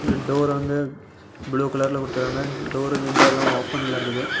Tour வந்து blue கலரல குடுத்துருக்காங்க. டூர் விண்டோலாம் ஓபன்ல இருக்குது.